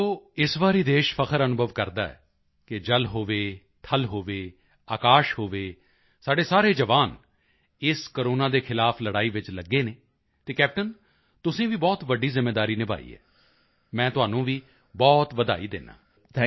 ਵੇਖੋ ਇਸ ਵਾਰੀ ਦੇਸ਼ ਫ਼ਖਰ ਅਨੁਭਵ ਕਰਦਾ ਹੈ ਕਿ ਜਲ ਹੋਵੇ ਥਲ ਹੋਵੇ ਆਕਾਸ਼ ਹੋਵੇ ਸਾਡੇ ਸਾਰੇ ਜਵਾਨ ਇਸ ਕੋਰੋਨਾ ਦੇ ਖ਼ਿਲਾਫ਼ ਲੜਾਈ ਵਿੱਚ ਲੱਗੇ ਹਨ ਅਤੇ ਕੈਪਟੇਨ ਤੁਸੀਂ ਵੀ ਬਹੁਤ ਵੱਡੀ ਜ਼ਿੰਮੇਵਾਰੀ ਨਿਭਾਈ ਹੈ ਮੈਂ ਤੁਹਾਨੂੰ ਵੀ ਬਹੁਤ ਵਧਾਈ ਦਿੰਦਾ ਹਾਂ